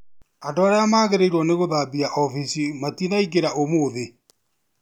Andũ arĩa magĩrĩirwo nĩguthambia ofici matinaingĩra ũmũthĩ